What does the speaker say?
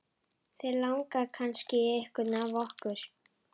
Þig langar kannski í einhvern af okkur, ha?